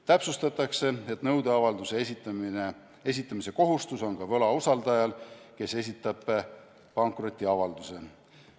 Täpsustatakse, et nõudeavalduse esitamise kohustus on ka võlausaldajal, kes esitab pankrotiavalduse.